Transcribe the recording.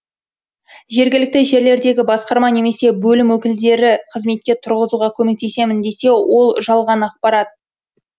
жергілікті жерлердегі басқарма немесе бөлім өкілдері қызметке тұрғызуға көмектесемін десе ол жалған ақпарат